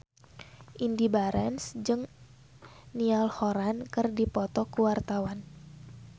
Indy Barens jeung Niall Horran keur dipoto ku wartawan